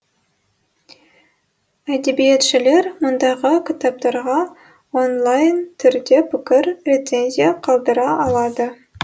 әдебиетшілер мұндағы кітаптарға онлайын түрде пікір рецензия қалдыра алады